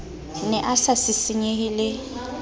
ne a sa sisinyehe le